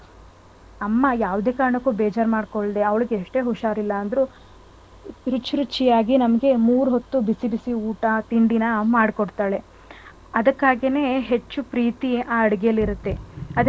ಅಮ್ಮ ಯಾವದೇ ಕಾರಣಕ್ಕೂ ಬೇಜಾರ್ ಮಾಡ್ಕೊಳ್ದೆ ಅವ್ಳ್ಗೆ ಯಷ್ಟೇ ಉಷರ್ ಇಲ್ಲ ಅಂದ್ರು ರುಚಿರುಚಿಯಾಗಿ ನಮ್ಗೆ ಮೂರೊತ್ತು ಬಿಸಿ ಬಿಸಿ ಊಟ ತಿಂಡಿನ ಮಾಡ್ಕೊಡ್ತಾಳೆ. ಅದ್ಕೇನೆ ಹೆಚ್ಚು ಪ್ರೀತಿ ಆ ಅಡಿಗೆಲಿ ಇರುತ್ತೆ ಅದ್ರಿಂದ ಅದನ್ ತಿಂದು,